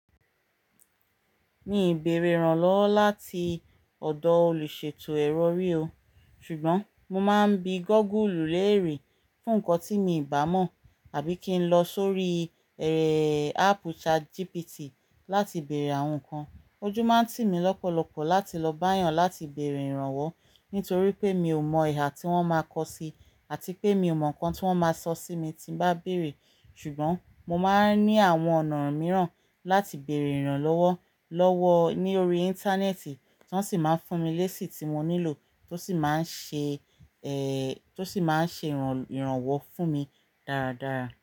Mi ò bèèrè ìrànlọ́wọ́ láti ọ̀dọ̀ olùṣètò ẹrọ rí o, ṣùgbọ́n mo máa ń bi Google léèrè fún nǹkan tí mi ò bá mọ̀ àbí kí n lọ sórí eré é ẹ́ áápù ChatGPT láti bèèrè àwọn nǹkan. Ojú máa ń tì mí lọ́pọ̀lọpọ̀ láti lọ bá èèyàn láti bèèrè ìrànwọ́ nítorí pé mi ò mọ ìhà tí wọ́n máa kọ sí àti pé mi ò mọ nǹkan tí wọ́n máa sọ sí mi tí mo bá bèèrè. Ṣùgbọ́n mo máa ń ní àwọn ọ̀nà mìíràn láti bèèrè ìrànlọ́wọ́ lọ́wọ́ ní orí Íńtánẹ́ẹ̀tì tí wọ́n sì máa ń fún mi léṣi tí mo nílò tó sì máa ń ṣe é ẹ́ tó sì máa ń ṣe ìràn ìrànwọ́ fún mi dáradára.